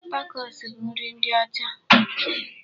Takos bụ nri ndị ọcha.